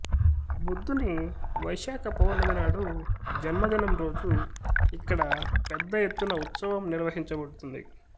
బుద్ధుని వైశాఖ పౌర్ణమి నాడు జన్మదినం రోజు ఇక్కడ పెద్ద ఎత్తున ఉత్సవం నిర్వహించబడుతుంది